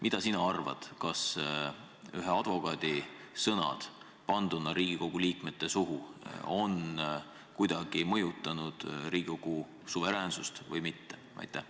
Mida sina arvad, kas ühe advokaadi sõnad panduna Riigikogu liikmete suhu on kuidagi mõjutanud Riigikogu suveräänsust või mitte?